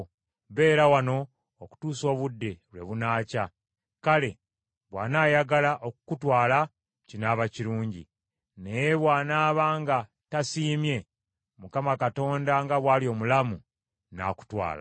Beera wano okutuusa obudde lwe bunaakya. Kale bw’anaayagala okukutwala, kinaaba kirungi; naye bw’anaaba nga tasiimye, Mukama Katonda nga bw’ali omulamu, nnaakutwala.”